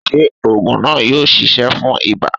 Ṣé ògùn náà yóò ṣiṣẹ́ fún ibà?